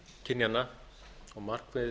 kynjanna og markmið